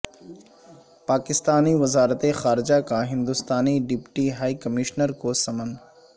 پاکستانی وزارت خارجہ کا ہندستانی ڈپٹی ہائی کمشنر کو سمن